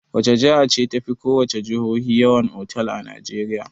Wace jiha ce tafi ko wace jihohi yawan otal a Najeriya?